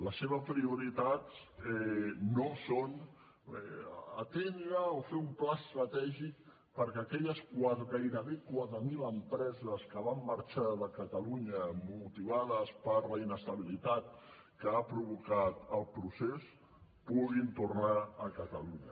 les seves prioritats no són atendre o fer un pla estratègic perquè aquelles gairebé quatre mil empreses que van marxar de catalunya motivades per la inestabilitat que ha provocat el procés puguin tornar a ca talunya